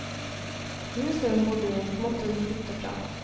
Huset hun bodde i, måtte hun flytte fra.